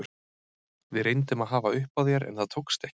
Við reyndum að hafa upp á þér en það tókst ekki.